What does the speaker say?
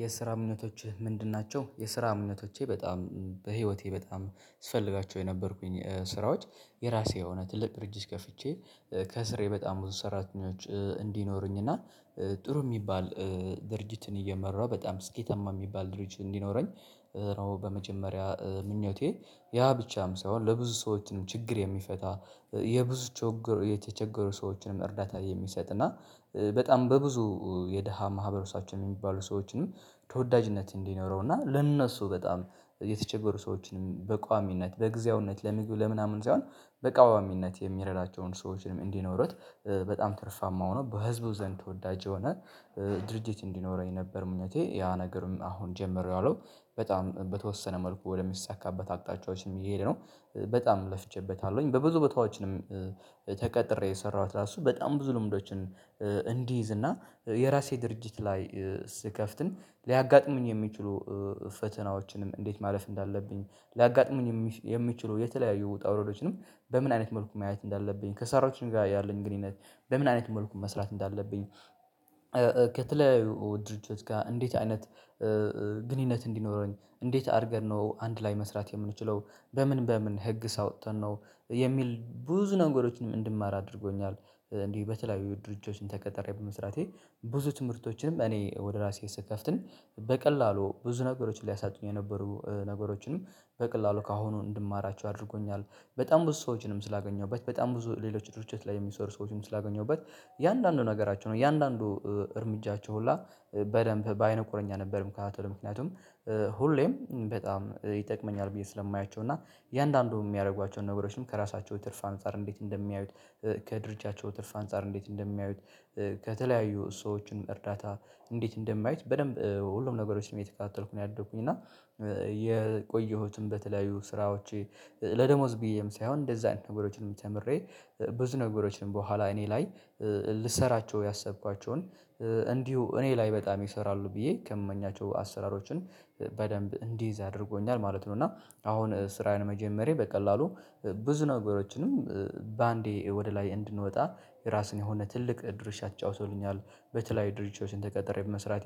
የስራ እምነቶችህ ምንድን ናቸው? የስራ እምነቶቼ በጣም በህይወቴ በጣም ስፈልጋቸው የነበርኩኝ ስራዎች የራሴ የሆነ ትልቅ ድርጅት ከፍቼ ከስሬ በጣም ብዙ ሰራተኞች እንዲኖሩኝ እና ጥሩ የሚባል ድርጅትን እየመራሁ በጣም ስኬታማ የሚባል ድርጅት እንዲኖረኝ ነው በመጀመሪያ ምኞቴ ያ ብቻም ሳይሆን ለብዙ ሰዎችንም ችግር የሚፈታ የብዙ የተቸገሩ ሰዎችንም እርዳታ የሚሰጥ እና በጣም በብዙ የደሃ ማህበረሰባችን የሚባሉ ሰዎችንም ተወዳጅነት እንዲኖረው እና ለእነሱ በጣም የተቸገሩ ሰዎችንም በቋሚነት በጊዜያዊነት ለምግብ ለምናምን ሳይሆን በቋሚነት የሚረዳቸውን ሰዎችንም እንዲኖሩት በጣም ትርፋማ ሆኖ በህዝቡ ዘንድ ተወዳጅ የሆነ ድርጅት እንዲኖረኝ ነበር ምኞቴ ያ ነገርም አሁን ጀምሬዋለሁ በጣም በተወሰነ መልኩ ወደሚሳካበት አቅጣጫዎችም እየሄድ ነው በጣም ለፍቼበታለሁኝ በብዙ ቦታዎችንም ተቀጥሬ የሰራሁት ራሱ በጣም ብዙ ልምዶችን እንዲይዝ እና የራሴ ድርጅት ላይ ስከፍትም ሊያጋጥመኝ የሚችሉ ፈተናዎችንም እንዴት ማለፍ እንዳለብኝ ሊያጋጥሙኝ የሚችሉ የተለያዩ ውጣ ውረዶችንም በምን አይነት መልኩ ማየት እንዳለብኝ ከሰራችን ጋር ያለኝ ግንኙነት በምን አይነት መልኩ መስራት እንዳለብኝ ከተለያዩ ድርጅቶች ጋር እንዴት አይነት ግንኙነት እንዲኖረኝ እንዴት አድርገን ነው አንድ ላይ መስራት የምንችለው በምን በምን ህግስ አውጥተን ነው የሚል ብዙ ነገሮችንም እንድማር አድርጎኛል እንዲህ በተለያዩ ድርጆችን ተቀጣሬ በመስራቴ ብዙ ትምህርቶችንም እኔ ወደ ራሴ ስከፍትም በቀላሉ ብዙ ነገሮችን ሊያሳጡኝ የነበሩ ነገሮችንም በቀላሉ ከአሁኑ እንድማራቸው አድርጎኛል በጣም ብዙ ሰዎችንም ስላገኘሁበት በጣም ብዙ ሌሎች ድርጅት ላይ የሚሰሩ ሰዎችንም ስላገኘሁበት የአንዳንዱ ነገሮች ነው ያንዳንዱ እርምጃቸው ሁላ በደንብ በአይነ ቁርኛ ነበር የምከታተለው ምክንያቱም ሁሌም በጣም ይጠቅመኛል ብዬ ስለማያቸው እና የእያንዳንዱ የሚያደርጓቸውን ነገሮችም ከራሳቸው ትርፍ አንፃር እንዴት እንደሚያዩት ከድርጅታቸው ትርፍ አንፃር እንዴት እንደሚያዩት ከተለያዩ ሰዎችን እርዳታ እንዴት እንደሚያዩት በደንብ ሁሉም ነገሮችን ነው እየተከታልኩኝ ነው ያደኩኝ እና የቆየሁትም በተለያዩ ስራዎቼ ለደሞዝ ብዬም ሳይሆን እንደዛ ነገሮችንም ተምሬ ብዙ ነገሮችን በኋላ እኔ ላይ ልሰራቸው ያሰብኳቸውን እንዲሁ እኔ ላይ በጣም ይሰራሉ ብዬ ከምመኛቸው አሰራሮችን በደንብ እንዲይዝ አድርጎኛል ማለት ነው እና አሁን ስራየን መጀመሬ በቀላሉ ብዙ ነገሮችንም በአንዴ ወደ ላይ እንድንወጣ የራሱን የሆነ ትልቅ ድርሻ ተጫውቶልኛል በተለያዩ ድርሻዎችን ተቀጥሬ በመስራቴ